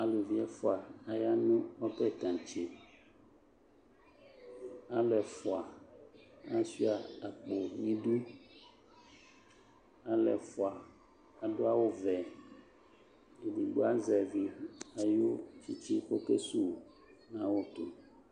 Aluvi ɛfua aya no ɔbɛ tantse Alu ɛfua asua akpo nidu Alɛ fua ado awuvɛEdigbo azɛvi ayu tsetse kɔke su nawu to